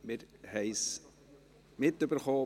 Wir haben es mitbekommen: